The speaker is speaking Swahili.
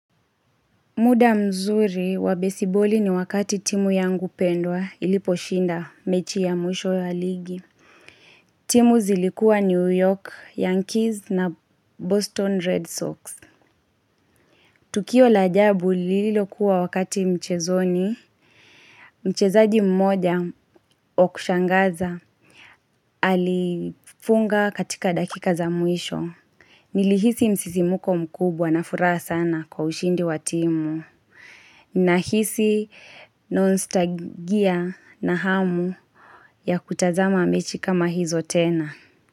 Muda mzuri wa baseball ni wakati timu yangu pendwa ilipo shinda mechi ya mwisho ya ligi. Timu zilikuwa New York, Yankees na Boston Red Sox. Tukio la ajabu lilo kuwa wakati mchezoni. Mchezaji mmoja wa kushangaza alifunga katika dakika za mwisho. Nilihisi msisimko mkubwa na furaha sana kwa ushindi wa timu. Nahisi nostalgia na hamu ya kutazama mechi kama hizo tena.